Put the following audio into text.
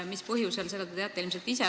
Mis põhjusel, seda te teate ilmselt ise.